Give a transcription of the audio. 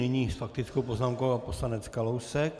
Nyní s faktickou poznámkou pan poslanec Kalousek.